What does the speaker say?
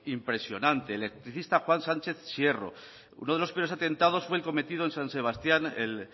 impresionante el electricista juan sánchez sierro uno de los peores atentados fue el cometido en san sebastián el